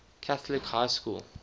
catholic high school